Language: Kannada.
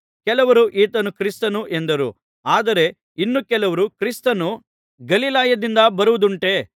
ಕೆಲವರು ಈತನು ಕ್ರಿಸ್ತನು ಎಂದರು ಆದರೆ ಇನ್ನೂ ಕೆಲವರು ಕ್ರಿಸ್ತನು ಗಲಿಲಾಯದಿಂದ ಬರುವುದುಂಟೆ